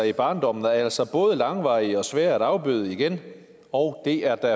i barndommen altså både langvarige og svære at afbøde igen og det er der